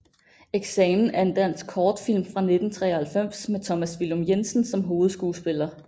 Eksamen er en dansk kortfilm fra 1993 med Thomas Villum Jensen som hovedskuespiller